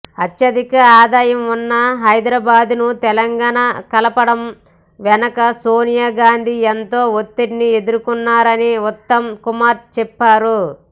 అత్యధిక ఆదాయం ఉన్న హైదరాబాద్ను తెలంగాణలో కలపడం వెనుక సోనియా గాంధీ ఎంతో ఒత్తిడిని ఎదుర్కొన్నారని ఉత్తమ్ కుమార్ చెప్పారు